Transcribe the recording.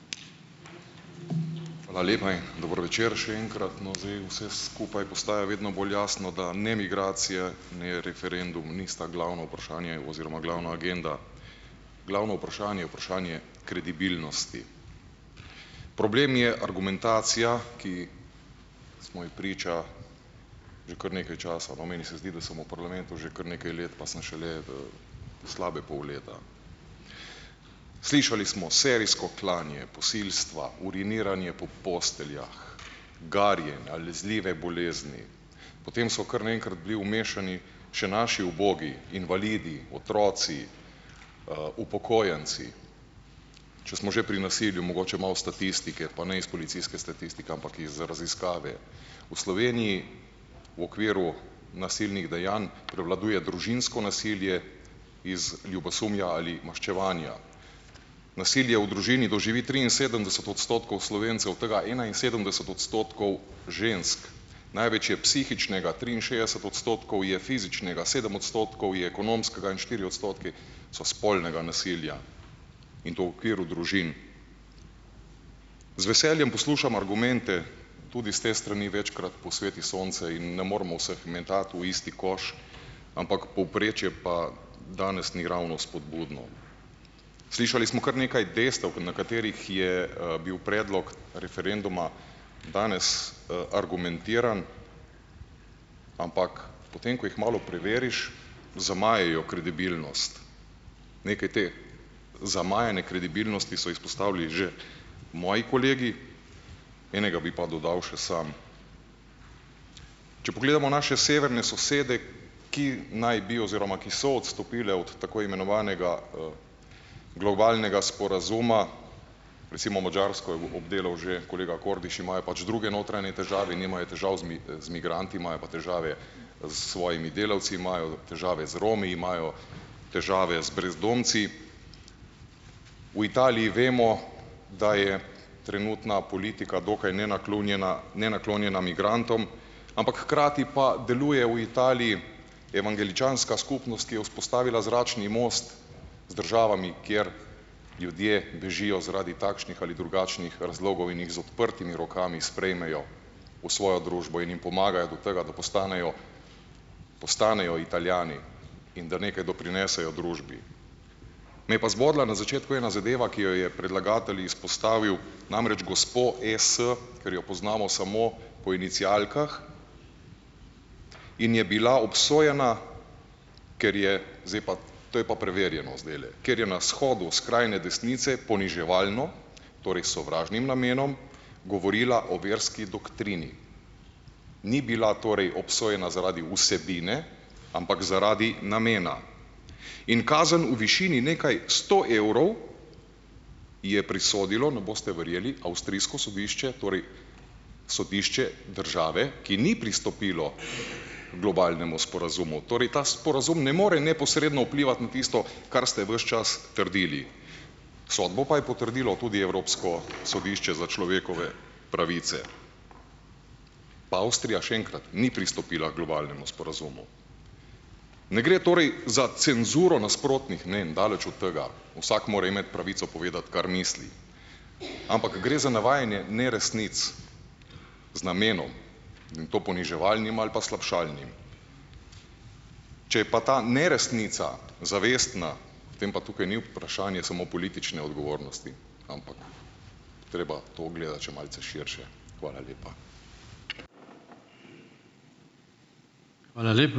Hvala lepa in dober večer še enkrat. No, zdaj vse skupaj postaja vedno bolj jasno, da ne migracije ne referendum nista glavno vprašanje oziroma glavna agenda. Glavno vprašanje, vprašanje kredibilnosti. Problem je argumentacija, ki smo ji priča že kar nekaj časa. No, meni se zdi, da sem v parlamentu že kar nekaj let, pa sem šele, slabe pol leta. Slišali smo serijsko klanje, posilstva, uriniranje po posteljah, garje, nalezljive bolezni, potem so kar naenkrat bili vmešani še naši ubogi invalidi, otroci, upokojenci. Če smo že pri nasilju, mogoče malo statistike, pa ne iz policijske statistike, ampak iz raziskave. V Sloveniji v okviru nasilnih dejanj prevladuje družinsko nasilje, iz ljubosumja ali maščevanja. Nasilje v družini doživi triinsedemdeset odstotkov Slovencev, od tega enainsedemdeset odstotkov žensk, največ je psihičnega, triinšestdeset odstotkov je fizičnega, sedem odstotkov je ekonomskega in štiri odstotki so spolnega nasilja in to v okviru družin. Z veseljem poslušam argumente, tudi s te strani večkrat posveti sonce in ne moremo vseh metati v isti koš, ampak povprečje pa danes ni ravno spodbudno. Slišali smo kar nekaj dejstev, na katerih je, bil predlog referenduma danes, argumentiran, ampak potem, ko jih malo preveriš, zamajejo kredibilnost. Nekaj te zamajane kredibilnosti so izpostavili že moji kolegi, enega bi pa dodal še sam. Če pogledamo naše severne sosede, ki naj bi oziroma ki so odstopili od tako imenovanega, globalnega sporazuma, recimo Madžarsko je obdelal že kolega Kordiš, imajo pač druge notranje težave in nimajo težav z z migranti, imajo pa težave s svojimi delavci, imajo težave z Romi, imajo težave z brezdomci. V Italiji vemo, da je trenutna politika dokaj nenaklonjena nenaklonjena migrantom, ampak hkrati pa deluje v Italiji evangeličanska skupnost, ki je vzpostavila zračni most z državami, kjer ljudje bežijo zaradi takšnih ali drugačnih razlogov in jih z odprtimi rokami sprejmejo v svojo družbo, in jim pomagajo do tega, da postanejo postanejo Italijani in da nekaj doprinesejo družbi. Me je pa zbodla na začetku ena zadeva, ki jo je predlagatelj izpostavil, namreč gospo S, ker jo poznamo samo po inicialkah, in je bila obsojena, ker je, zdaj pa, to je pa preverjeno zdajle, ker je na shodu skrajne desnice poniževalno, torej s sovražnim namenom govorila o verski doktrini. Ni bila torej obsojena zaradi vsebine, ampak zaradi namena. In kazen v višini nekaj sto evrov ji je prisodilo, ne boste verjeli, avstrijsko sodišče, torej sodišče države, ki ni pristopila h globalnemu sporazumu. Torej, ta sporazum ne more neposredno vplivati na tisto, kar ste ves čas trdili. Sodbo pa je potrdilo tudi Evropsko sodišče za človekove pravice. Avstrija, še enkrat, ni pristopila h globalnemu sporazumu. Ne gre torej za cenzuro nasprotnih mnenj, daleč od tega, vsak mora imeti pravico povedati, kar misli, ampak gre za navajanje neresnic z namenom in to poniževalnim ali pa slabšalnim. Če je pa ta neresnica zavestna, potem pa tukaj ni vprašanje samo politične odgovornosti, ampak treba to gledati še malce širše. Hvala lepa.